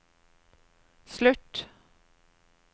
slutt